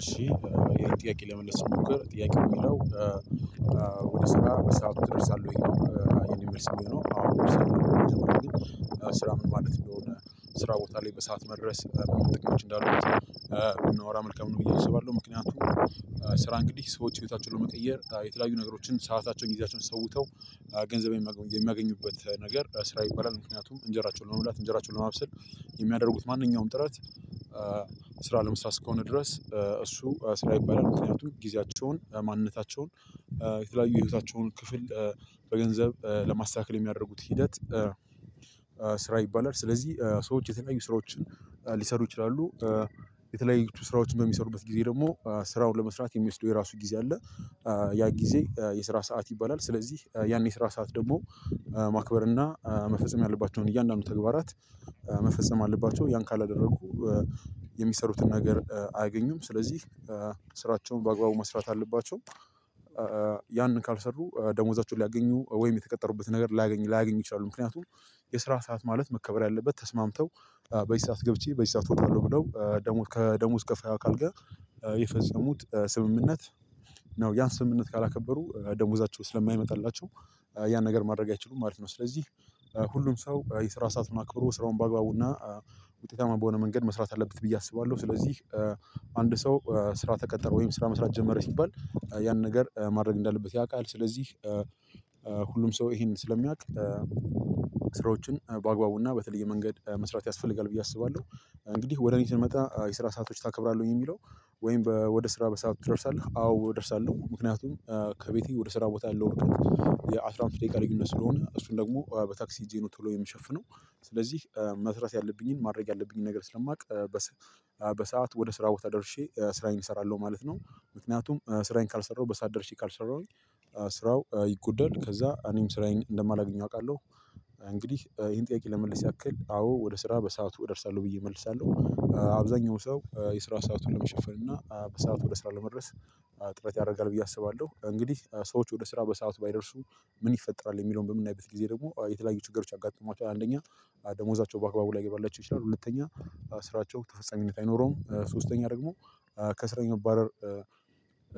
እሺ ጥያቄ ለመመልስ ስሞክር ጥያቄ የሚለው ወደ ስራ በሰአቱ ትደርሳለህ ወይ? ይሄን የሚመስል ነው? አዎ እደርሳለሁኝ ስራ ምን ማለት እንደሆነ ስራ ቦታ ላይ በሰአት መድረስ ምን ምን ጥቅሞች እንዳሉት ብንወራ መልካም ነው ብዬ አስባለሁ። ምክንያቱም ስራ እንግዲህ ሰዎች ህይወታቸውን ለመቀየር የተለያዩ ነገሮችን ሰአታቸውን ጊዜያቸውን ሰውተው ገንዘብ የሚያገኙበት ነገር ስራ ይባላል። ምክንያቱም እንጀራቸውን ለመብላት እንጀራቸውን ለማብሰል የሚያደርጉት ማንኛውም ጥረት ስራ ለመስራት እስከሆነ ድረስ እሱ ስራ ይባላል። ምክንያቱም ጊዜያቸውን ማንነታቸውን የተለያዩ ህይወታቸውን ክፍል በገንዘብ ለማስተካከል የሚያደርጉት ሂደት ስራ ይባላል። ስለዚህ ሰዎች የተለያዩ ስራዎችን ሊሰሩ ይችላሉ። የተለያዩ ስራዎችን በሚሰሩበት ጊዜ ደግሞ ስራውን ለመስራት የሚወስደው የራሱ ጊዜ አለ ያ ጊዜ የስራ ሰዓት ይባላል። ስለዚህ ያኔ የስራ ሰዓት ደግሞ ማክበር እና መፈጸም ያለባቸውን እያንዳንዱ ተግባራት መፈጸም አለባቸው ያን ካላደረጉ የሚሰሩትን ነገር አያገኙም ስለዚህ ስራቸውን በአግባቡ መስራት አለባቸው። ያንን ካልሰሩ ደሞዛቸውን ሊያገኙ ወይም የተቀጠሩበትን ነገር ላያገኙ ላያገኙ ይችላሉ። ምክንያቱም የስራ ሰዓት ማለት መከበር ያለበት ተስማምተው በዚህ ሰዓት ገብቼ በዚህ ሰዓት እወጣለሁ ብለው ከደሞዝ ከፋይ አካል ጋር የፈጸሙት ስምምነት ነው ያን ስምምነት ካላከበሩ ደሞዛቸው ስለማይመጣላቸው ያን ነገር ማድረግ አይችሉም ማለት ነው። ስለዚህ- ሁሉም ሰው የስራ ሰዓት አክብሮ ስራውን በአግባቡና ውጤታማ በሆነ መንገድ መስራት አለበት ብዬ አስባለሁ። ስለዚህ- አንድ ሰው ስራ ተቀጠረ ወይም ስራ መስራት ጀመረ ሲባል ያን ነገር ማድረግ እንዳለበት ያውቃል ስለዚህ ሁሉም ሰው ይሄንን ስለሚያውቅ ስራዎችን በአግባቡና በተለየ መንገድ መስራት ያስፈልጋል ብዬ አስባለሁ። እንግዲህ ወደ እኔ ስንመጣ የስራ ሰአቶች ታከብራለህ ወይ ሚለው? ወይም ወደ ስራ በሰአት ትደርሳለህ አዎ እደርሳለሁ ምክንያቱም ከቤቴ ወደ ስራ ቦታ ያለው ርቀት የአስራ አምስት ደቂቃ ልዩነት ስለሆነ እሱን ደግሞ በታክሲ ሄጄ ነው ቶሎ የሚሸፍነው ስለዚህ መስራት ያለብኝን ማድረግ ያለብኝን ነገር ስለማውቅ በሰአት ወደ ስራ ቦታ ደርሼ ስራዬን እሰራለሁ ማለት ነው። ምክንያቱም ስራዬን ካልሰራሁ በሰአት ደርሼ ካልሰራሁኝ ስራው ይጎደል ከዛ እኔም ስራዬን እንደማላገኘው አውቃለሁ። እንግዲህ ይሄን ጥያቄ ለመመለስ ያክል አዎ ወደ ስራ በሰአቱ እደርሳለሁ ብዬ እመልሳለሁ። አብዛኛው ሰው የስራ ሰአቱን ለመሸፈን እና በሰአቱ ወደ ስራ ለመድረስ ጥረት ያደርጋል ብዬ አስባለሁ። እንግዲህ ሰዎች ወደ ስራ በሰአት ባይደርሱ ምን ይፈጠራል የሚለውን በምናይበት ጊዜ ደግሞ የተለያዩ ችገሮች ያጋጥሟቸዋል። አንደኛ- ደመዎዛቸው በአግባቡ ላይገባላቸው ይቻላል ሁለተኛ ስራቸው ተፈፃሚነት አይኖረውም ሶስተኛ ደሞ ከስራ የመባረር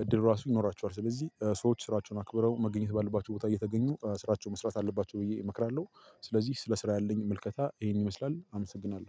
እድል ራሱ ይኖራቸዋል ስለዚህ ሰዎች ስራቸውን አክብረው መገናኘት ባለባቸው ቦታ እየተገኙ ስራቸውን መስራት አለባቸው ብዬ እመክራለሁ። ስለዚህ ስለ ስራ ያለኝ ምልከታ ይህን ይመስላል።